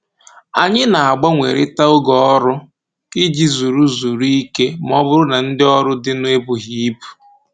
Anyị na-agbanwerita oge ọrụ iji zuru zuru ike ma ọ bụrụ na ndị ọrụ dịnụ ebughị ibu